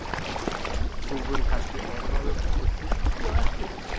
Þú verður kannski orðaður við Fylki á eftir?